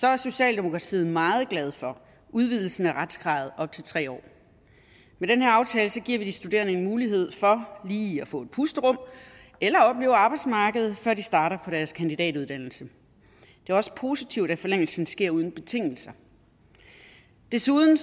er socialdemokratiet meget glad for udvidelsen af retskravet op til tre år med den her aftale giver vi de studerende en mulighed for lige at få et pusterum eller opleve arbejdsmarkedet før de starter på deres kandidatuddannelse det er også positivt at forlængelsen sker uden betingelser desuden